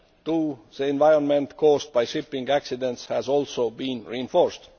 to the environment caused by shipping accidents has also been reinforced.